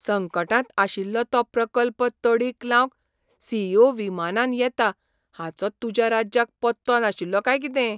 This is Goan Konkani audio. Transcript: संकटांत आशिल्लो तो प्रकल्प तडीक लावंक सी. ई. ओ. विमानान येता हाचो तुज्या राज्याक पत्तो नाशिल्लो काय कितें?